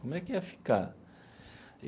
Como é que ia ficar?